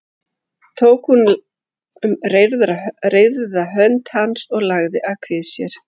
Tók hún um reyrða hönd hans og lagði að kvið sér.